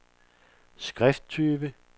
skrifttype